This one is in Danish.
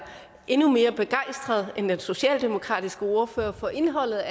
endnu mere begejstret end den socialdemokratiske ordfører for indholdet